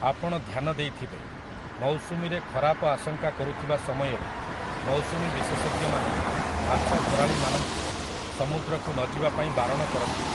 ଆପଣ ଧ୍ୟାନ ଦେଇଥବେ, ମୌସୁମୀରେ ଖରାପ ଆଶଙ୍କା କରୁଥିବା ସମୟରେ ମୌସୁମୀ ବିଶେଷଜ୍ଞମାନେ ମାଛଧରାଳୀମାନଙ୍କୁ ସମୁଦ୍ରକୁ ନଯିବା ପାଇଁ ବାରଣ କରନ୍ତି ।